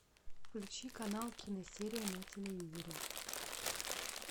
включи канал киносерия на телевизоре